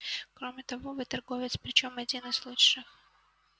кроме того вы торговец причём один из лучших